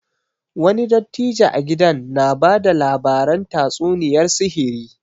Wani dattijo a gidan na bada labaran tatsuniyar sihiri